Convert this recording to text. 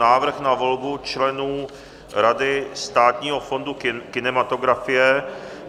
Návrh na volbu členů Rady Státního fondu kinematografie